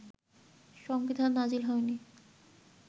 সংবিধান নাজিল হয়নি